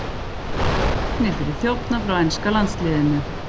Reknir fyrir þjófnað frá enska landsliðinu